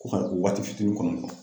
Ko ka o waati fitini kɔnɔ